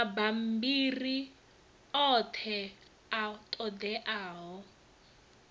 mabammbiri oṱhe a ṱo ḓeaho